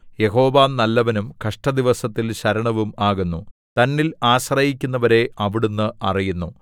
യഹോവ നല്ലവനും കഷ്ടദിവസത്തിൽ ശരണവും ആകുന്നു തന്നിൽ ആശ്രയിക്കുന്നവരെ അവിടുന്ന് അറിയുന്നു